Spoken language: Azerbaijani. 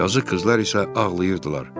Yazıq qızlar isə ağlayırdılar.